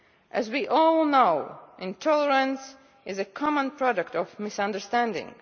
As we all know, intolerance is a common product of misunderstanding.